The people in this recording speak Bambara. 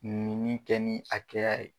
Minni kɛ ni akɛya ye.